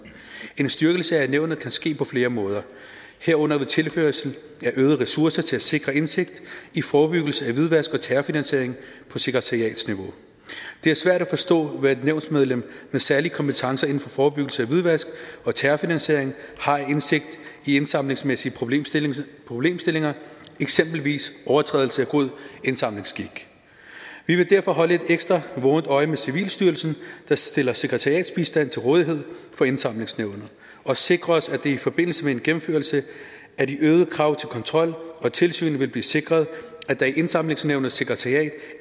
en styrkelse af nævnet kan ske på flere måder herunder ved tilførsel af øgede ressourcer til at sikre indsigt i forebyggelse af hvidvask og terrorfinansiering på sekretariatsniveau det er svært at forstå hvad et nævnsmedlem med særlige kompetencer inden for forebyggelse af hvidvask og terrorfinansiering har af indsigt i indsamlingsmæssige problemstillinger problemstillinger eksempelvis overtrædelse af god indsamlingsskik vi vil derfor holde et ekstra vågent øje med civilstyrelsen der stiller sekretariatsbistand til rådighed for indsamlingsnævnet og sikre os at det i forbindelse med en gennemførelse af de øgede krav til kontrol og tilsyn vil blive sikret at der i indsamlingsnævnets sekretariat